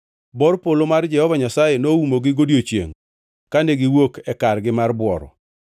Bor polo mar Jehova Nyasaye noumogi godiechiengʼ kane giwuok e kargi mar bworo.